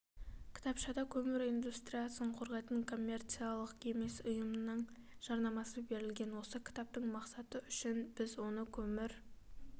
кітапшада көмір индустриясын қорғайтын коммерциялық емес ұйымның жарнамасы берілген осы кітаптың мақсаты үшін біз оны көмір